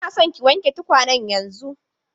Ina son ki wanke tukwanen yanzun!